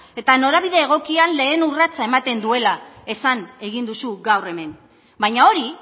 eta norabide egokian lehen urratsa ematen duela esan egin duzu gaur hemen baina hori